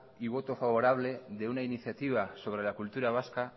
y voto favorable de una iniciativa sobre la cultura vasca